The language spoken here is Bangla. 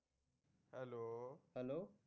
Hello